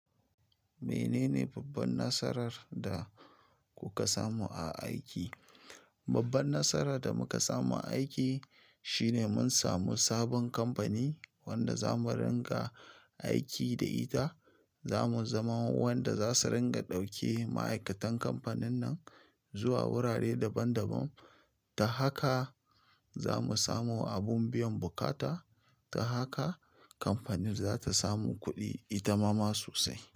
Menene babban nasarar da kuka samu a aiki? Babban nasarar da muka samu a aiki shine mun samu sabon kamfani wanda za mu ringa aiki da ita. Za mu zama wa wanda za su ringa ɗauke ma'aikatan kamfanin nan zuwa wurare daban-daban. Ta haka za mu samo abun biyan bukata. Ta haka kamfanin za ta samu kuɗi ita ma sosai.